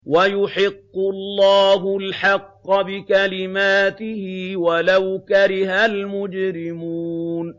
وَيُحِقُّ اللَّهُ الْحَقَّ بِكَلِمَاتِهِ وَلَوْ كَرِهَ الْمُجْرِمُونَ